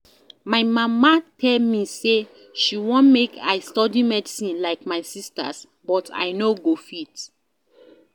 My mama tell me say she wan make I study medicine like my sisters but I no go fit